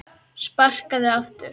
Sparkað aftur.